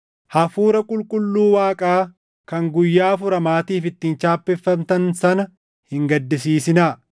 Hafuura Qulqulluu Waaqaa kan guyyaa furamaatiif ittiin chaappeffamtan sana hin gaddisiisinaa.